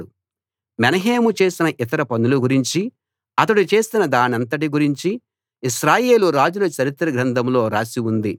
మెనహేము చేసిన ఇతర పనుల గురించి అతడు చేసిన దానంతటి గురించి ఇశ్రాయేలు రాజుల చరిత్ర గ్రంథంలో రాసి ఉంది